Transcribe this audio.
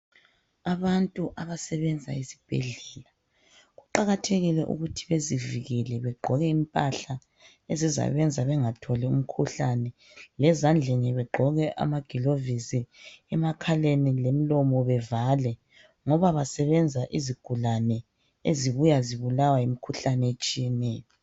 Abantu abasebenza esibhedlela kuqakathekile ukuthi bezivikele begqoke impahla ezizabenza bengatholi umkhuhlane, lezandleni begqoke amagilovisi, emakhaleni lemlomo bevale ngoba basebenza izigulane ezibuya zibulawa yimikhuhlane etshiyeneyo.